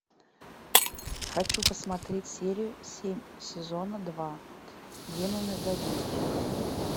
хочу посмотреть серию семь сезона два демоны да винчи